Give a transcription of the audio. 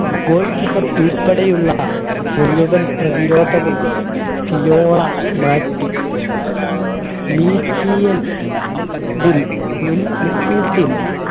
goalkeeper ഉൾപ്പെടെയുള്ള മുഴുവൻ പ്രതിരോധവും മാറ്റി field ൽ